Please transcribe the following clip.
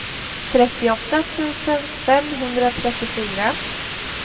trettioåtta tusen femhundratrettiofyra